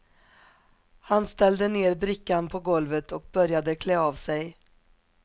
Han ställde ner brickan på golvet och började klä av sig.